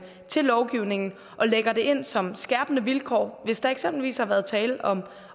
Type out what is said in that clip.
til lovgivningen og lægger det ind som skærpende vilkår hvis der eksempelvis har været tale om